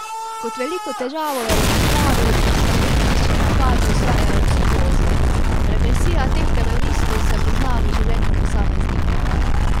Kot veliko težavo je izpostavil, da teroristični napadi ustvarijo psihozo: "Represija teh teroristov se pozna v življenju posameznikov.